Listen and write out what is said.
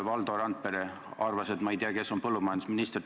Valdo Randpere arvas, et ma ei tea, kes on põllumajandusminister.